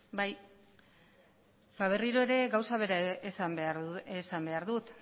bai berriro ere gauza bera esan behar dut